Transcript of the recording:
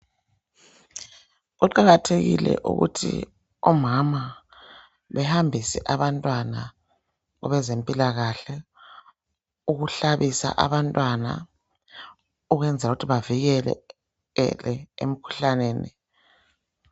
Kuqakathekile ukuthi omama behambise abantwana kwabezempilakahle. Ukuhlabisa abantwana. Ukwenzela ukuthi bevikeleke emkhuhlaneni.